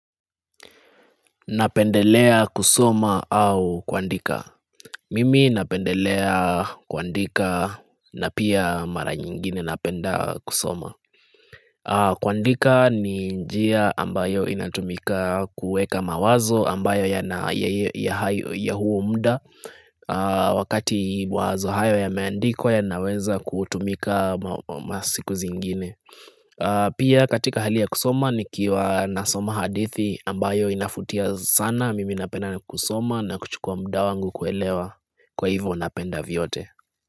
Napendelea kusoma au kuandika? Mimi napendelea kuandika na pia mara nyingine napenda kusoma. Kuandika ni njia ambayo inatumika kuweka mawazo ambayo ya huo muda wakati mawazo hayo yameandikwa yanaweza kutumika masiku zingine. Pia katika hali ya kusoma nikiwa nasoma hadithi ambayo inavutia sana Mimi napenda na kusoma na kuchukua muda wangu kuelewa Kwa hivyo napenda vyote.